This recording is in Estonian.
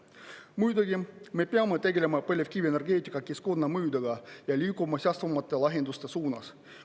Muidugi me peame tegelema põlevkivienergeetika keskkonnamõjudega ja liikuma säästvamate lahenduste suunas.